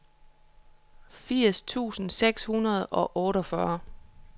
firs tusind seks hundrede og otteogfyrre